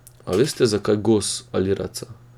A veste, zakaj gos ali raca?